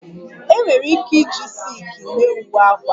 E nwere ike iji silki mee uwe akwa